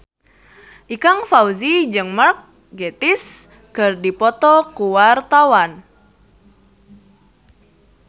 Ikang Fawzi jeung Mark Gatiss keur dipoto ku wartawan